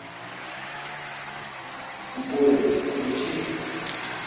горец включи